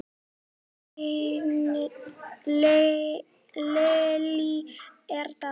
Lillý er dáin.